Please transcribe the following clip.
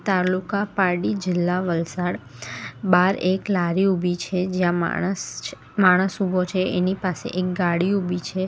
તાલુકા પારડી જિલ્લા વલસાડ બાર એક લારી ઊભી છે જ્યાં માણસ છ માણસ ઉભો છે એની પાસે એક ગાડી ઊભી છે.